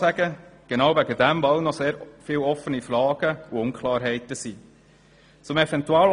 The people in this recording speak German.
Dies genau deshalb, weil noch sehr viele Fragen offen sind und Unklarheiten bestehen.